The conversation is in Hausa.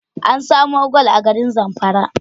An samo gwal a garin Zamfara